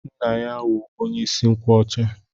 Nna ya wụ onye isi nkwọcha.